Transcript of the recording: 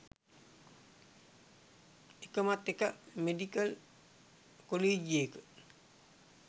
එකමත් එක මෙඩිකල් කොලීජියක